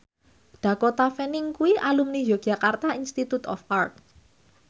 Dakota Fanning kuwi alumni Yogyakarta Institute of Art